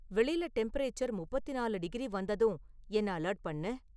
வெளில டெம்பரேச்சர் முப்பத்து நாலு டிகிரி வந்ததும் என்ன அலர்ட் பண்ணு